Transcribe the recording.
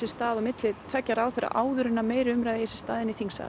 stað á milli tveggja ráðherra áður en að meiri umræða eigi sér stað inn í þingsal